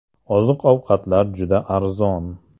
Oziq-ovqatlar juda arzon.